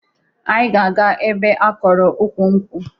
Anyị ga-aga ebe a kọrọ ukwu nkwụ